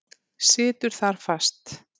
Situr þar fast.